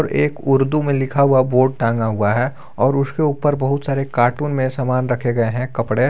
एक उर्दू में लिखा हुआ बोर्ड टांगा हुआ है और उसके ऊपर बहुत सारे कार्टून में सामान रखे गए हैं कपड़े।